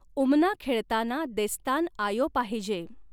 उमना खेळताना देस्तान आयो पाहिजे.